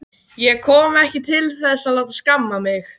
Ég kom ekki til þess að láta skamma mig.